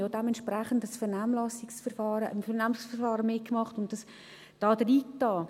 Wir haben auch dementsprechend am Vernehmlassungsverfahren mitgemacht und dies eingegeben.